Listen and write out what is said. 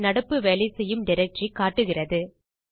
நம் நடப்பு வேலைசெய்யும் டைரக்டரி காட்டுகிறது